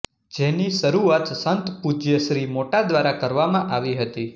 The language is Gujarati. જેની શરુઆત સંત પૂજ્ય શ્રી મોટા દ્વારા કરવામાં આવી હતી